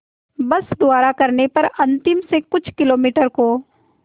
बस द्वारा करने पर अंतिम से कुछ किलोमीटर को